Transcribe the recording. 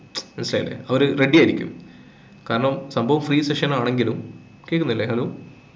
മനസിലായില്ലേ അവര് ready ആയിരിക്കും കാരണം സംഭവം free session ആണെങ്കിലും കേൾക്കുന്നില്ലേ hello